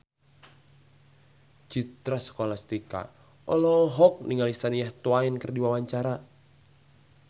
Citra Scholastika olohok ningali Shania Twain keur diwawancara